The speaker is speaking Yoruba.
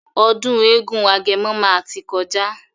Ọdún eégún agẹmọ máa tí kọjá.